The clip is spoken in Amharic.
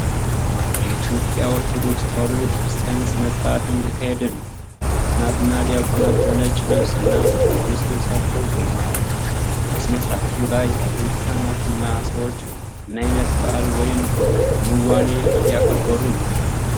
የኢትዮጵያ ኦርቶዶክስ ተዋህዶ ቤተክርስቲያን ሥነ ሥርዓት እየተካሄደ ነው። ካህናት እና ዲያቆናት በነጭ ልብስ እና በቅዱስ ልብሶች ቆመዋል። በሥነ ሥርዓቱ ላይ ያሉት ካህናትና ሰዎች ምን ዓይነት በዓል ወይም ክንዋኔ እያከበሩ ነው?